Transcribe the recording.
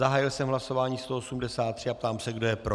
Zahájil jsem hlasování 183 a ptám se, kdo je pro.